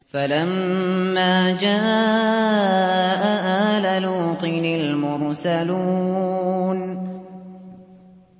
فَلَمَّا جَاءَ آلَ لُوطٍ الْمُرْسَلُونَ